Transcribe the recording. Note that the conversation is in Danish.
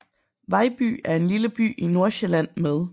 Vejby er en lille by i Nordsjælland med